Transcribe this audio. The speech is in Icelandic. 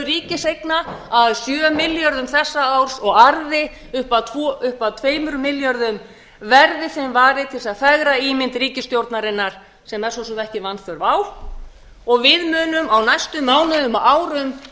ríkiseigna að sjö milljörðum þessa árs og arði upp að tveimur milljörðum verði þeim varið til þess að fegra ímynd ríkisstjórnarinnar sem er svo sem ekki vanþörf á og við munum á næstu mánuðum og árum